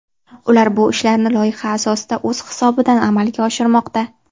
Ular bu ishlarni loyiha asosida o‘z hisobidan amalga oshirmoqda.